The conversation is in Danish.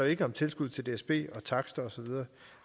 ikke om tilskud til dsb takster og så videre